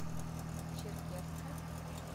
черкесска